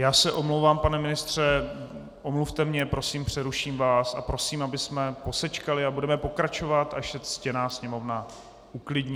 Já se omlouvám, pane ministře, omluvte mě prosím, přeruším vás a prosím, abychom posečkali a budeme pokračovat, až se ctěná Sněmovna uklidní...